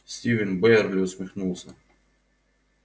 стивен байерли усмехнулся